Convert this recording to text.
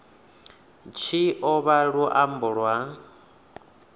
tshi o vha luambo lwa